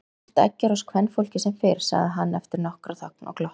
Hart eggjar oss kvenfólkið sem fyrr, sagði hann eftir nokkra þögn og glotti.